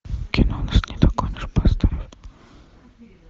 кино нас не догонишь поставь